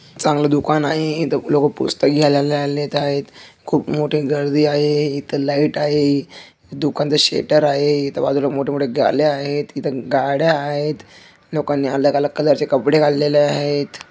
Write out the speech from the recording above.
चांगल दुकान आहे. इथं लोक पुस्तक घ्यायला आलेले आहेत. खुप मोठी गर्दी आहे. इथं लाइट आहे. दुकानच शटर आहे. इथं बाजूला मोठे मोठे गाले आहे इथ गाड्या आहेत. लोकांनी अलग अलग कलर चे कपडे घातले आहेत.